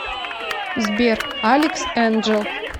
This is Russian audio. сбер алекс энджэл